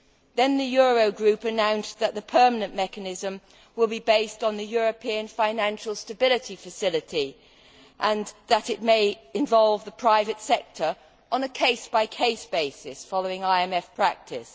Then the Euro Group announced that the permanent mechanism would be based on the European financial stability facility and that it might involve the private sector on a case by case basis following IMF practice.